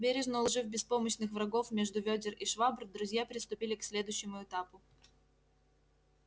бережно уложив беспомощных врагов между вёдер и швабр друзья приступили к следующему этапу